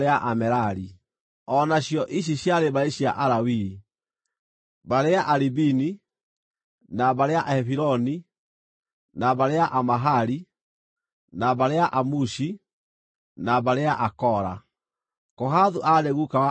O nacio ici ciarĩ mbarĩ cia Alawii: mbarĩ ya Alibini, na mbarĩ ya Ahebironi, na mbarĩ ya Amahali, na mbarĩ ya Amushi, na mbarĩ ya Akora. (Kohathu aarĩ guka wa Amuramu;